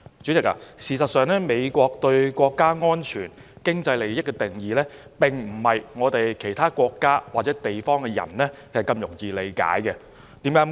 主席，事實上，美國對國家安全和經濟利益的定義，並非其他國家或地區的人如此容易理解的。